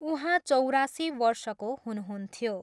उहाँ चौरासी वर्षको हुनुहुन्थ्यो।